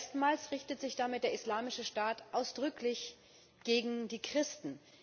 Erstmals richtet sich damit der Islamische Staat ausdrücklich gegen die Christen.